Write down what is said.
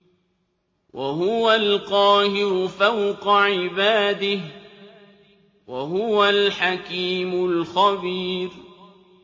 وَهُوَ الْقَاهِرُ فَوْقَ عِبَادِهِ ۚ وَهُوَ الْحَكِيمُ الْخَبِيرُ